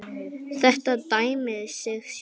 Þetta dæmir sig sjálft.